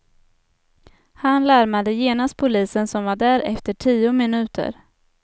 Han larmade genast polisen, som var där efter tio minuter.